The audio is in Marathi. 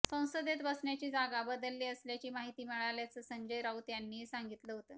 संसदेत बसण्याची जागा बदलली असल्याची माहिती मिळाल्याचं संजय राऊत यांनीही सांगितलं होतं